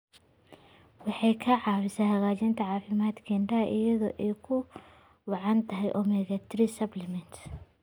Waxay caawisaa hagaajinta caafimaadka indhaha iyada oo ay ugu wacan tahay omega-3 supplements.